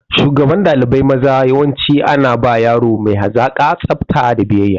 Shugaban ɗalibai maza yawanci ana ba yaro mai hazaƙa, tsafta da biyayya.